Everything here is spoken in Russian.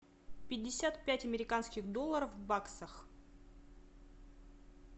пятьдесят пять американских долларов в баксах